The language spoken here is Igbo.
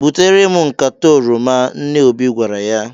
"Butere m nkata oroma," nne Obi gwara ya.